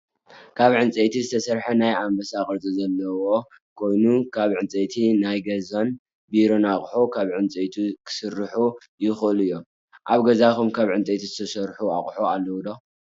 ካብ ዕንፀይቲ ዝተሰርሐ ናይ ኣንባሳ ቅርፂ ዘለዎ ኮይኑ ካብ ዕንፀይቲ ናይ ገዛን ቢሮ ኣቁሑት ካብ ዕንፀይት ክስርሑ ይክእሉ እዮም። ኣብ ገዛኩም ካብ ዕንፀይቲ ዝተርሑ ኣቁሑት ኣለው ዶ?